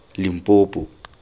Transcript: limpopo